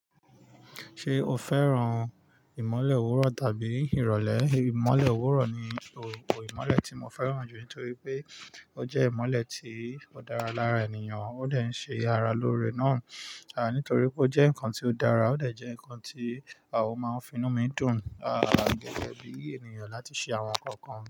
Ṣé o fẹ́ràn ìmọ́lẹ̀ òwúrọ̀ tàbí ìrọ̀lẹ́? Ìmọ́lẹ̀ òwúrọ̀ ni ìmọ́lẹ̀ tí mo fẹ́ràn jù nítorí pé ó jẹ́ ìmọ́lẹ̀ tí ó dára lára ènìyàn, ó dẹ ń ṣe ara lóore náà, nítorí pé ó jẹ́ nǹkan tí ó dára, ó dẹ jẹ́ nǹkan tí a ó máa finú mi dùn, à gẹ́gẹ́ bí ènìyàn láti ṣe àwọn nǹkan.